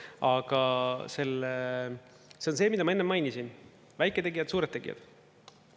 Aga see on see, mida ma enne mainisin: väiketegijad, suured tegijad.